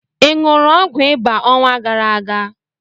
I ṅụrụ ọgwụ ịba ọnwa gara aga?